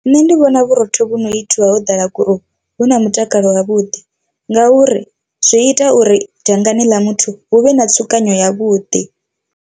Nṋe ndi vhona vhurotho vhu no itiwa ho ḓala gurowu vhu na mutakalo wavhuḓi ngauri zwi ita uri dangani ḽa muthu hu vhe na tsukanyo ya vhuḓi.